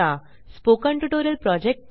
spoken tutorial project team